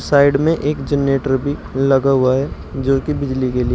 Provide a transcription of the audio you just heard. side में एक generator भी लगा हुआ है जोकि बिजली के लिए--